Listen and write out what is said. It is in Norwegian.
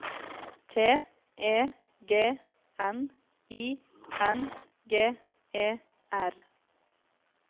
T E G N I N G E R